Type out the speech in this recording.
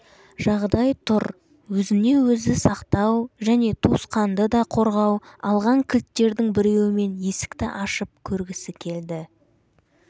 жағдай тұр өзіне-өзі сақтау және туысқанды да қорғау алған кілттердің біреуімен есікті ашып көргісі келді